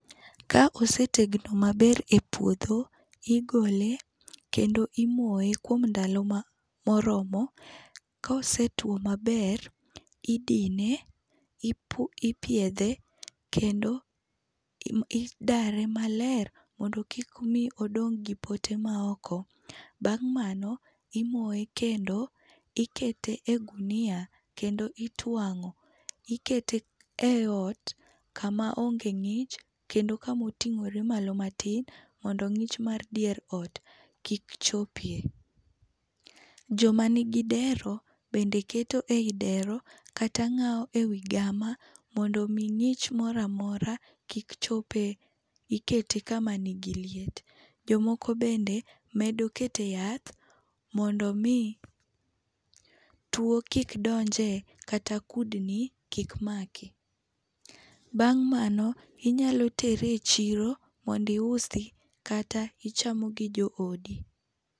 Ka osee tegno maber epuodho, igole kendo imoye kuom ndalo ma moromo. Kosetuo maber, idine, ipu ipiedhe kendo idare maler mondo kik mi odong' gi pote maoko. Bang' mano, imoye kendo, ikete e gunia kendo ituang'o, ikete eot kamaonge ng'ich kendo kama oting'ore malo matin mondo ng'ich mar dier ot kik chopie. Joma nigi dero bende keto ei dero kata ng'awo ewi gama mondo mi ng'ich moro amora kik chopee. Ikete kama nigi liet. Jomoko bende medo kete yath mondo mii tuo kik donje kata kudni kik maki. Bang' mano, inyalo tere e chiro mondo iusi kata ichamo, gi joodi.